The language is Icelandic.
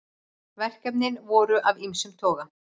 Verkefnin voru af ýmsum toga